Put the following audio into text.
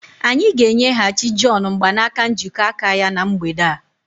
Anyị ga-enyeghachi John mgbanaka njikọ aka ya na mgbede a.